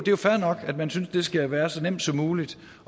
jo fair nok at man synes at det skal være så nemt som muligt